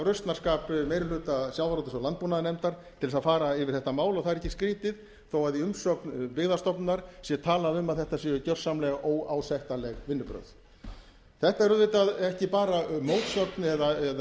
rausnarskap meiri hluta sjávarútvegs og landbúnaðarnefndar til að fara yfir þetta mál og það er ekkert skrýtið þó að í umsögn byggðastofnunar sé talað um að þetta séu gjörsamlega óásættanleg vinnubrögð þetta er auðvitað ekki bara mótsögn eða